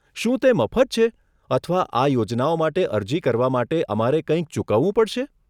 શું તે મફત છે અથવા આ યોજનાઓ માટે અરજી કરવા માટે અમારે કંઈક ચૂકવવું પડશે?